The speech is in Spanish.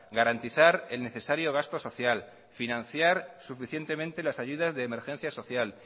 garantizar el necesario gasto social financiar suficientemente las ayudas de emergencia social